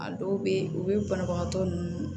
A dɔw be yen u be banabagatɔ nunnu